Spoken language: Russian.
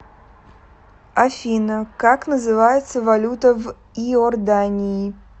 афина как называется валюта в иордании